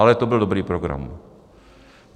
Ale to byl dobrý program.